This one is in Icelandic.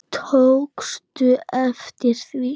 Tókstu eftir því?